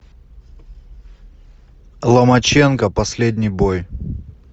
ломаченко последний бой